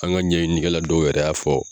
An ka ɲɛɲini kɛla dɔw yɛrɛ y'a fɔ